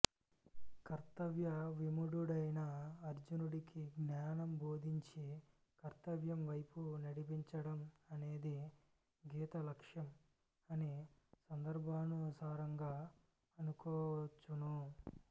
కర్తవ్య విమూఢుడైన అర్జునుడికి జ్ఞానం బోధించి కర్తవ్యంవైపు నడిపించడం అనేది గీత లక్ష్యం అని సందర్భానుసారంగా అనుకోవచ్చును